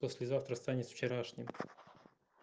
послезавтра станет вчерашним